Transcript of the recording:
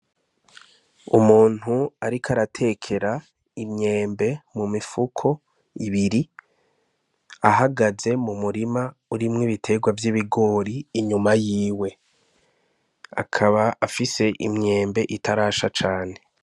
Umuntu ariko aratekera imyembe mu mifuko ibiri ahagaze mu murima urimwo biterwa vy'ibigori inyuma y'iwe. Akaba afise myembe itarasha cane.